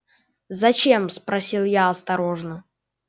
зачем спросил я осторожно